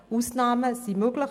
Ausnahmen sind möglich.